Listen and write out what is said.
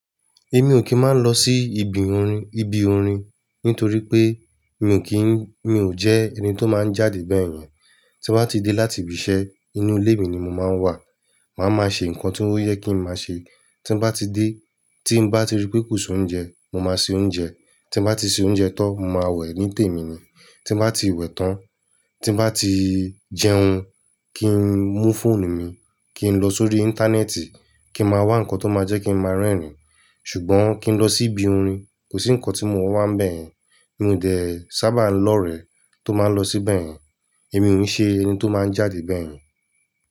Èmi ò kí ń máa ń lọ sí ibi orin, ibi orin nítorí pé mi ò kí ń, mi ò jẹ́ ẹni tó máa ń jáde bẹ́yẹn. Tí mo bá ti dé láti ibi iṣẹ́, inú ilé mi ni mo máa ń wà. Màá máa ṣe nǹkan tí ó yẹ kí ń máa ṣe. Tí mo bá ti dé, tí mo bá ti rí pé kò sí oúnjẹ, mo máa se oúnjẹ. Tí mo bá ti se oúnjẹ tán, mo máa wẹ̀ ní tèmi mi. Tí mo bá ti wẹ̀ tán, tí mo bá ti jẹun, kí n mú fóònù mi, kí n lọ sórí íńtánẹ́ẹ̀tì, kí n máa wá nǹkan tó máa jẹ́ kí n máa rẹ́rìn-ín. Ṣùgbọ́n kí n lọ sí ibi orin, kò sí nǹkan tí mo máa wá bẹ́yẹn. Mi ò dè ẹ́ sábà lọ rẹ̀ tó máa ń lọ síbẹ̀ yẹn. Èmi ò ń ṣe ẹni tó máa ń jáde bẹ́yẹn.